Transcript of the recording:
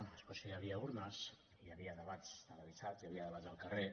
a escòcia hi havia urnes i hi havia debats televisats i hi havia debats al carrer